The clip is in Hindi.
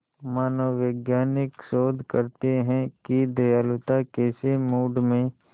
मनोवैज्ञानिक शोध करते हैं कि दयालुता कैसे मूड में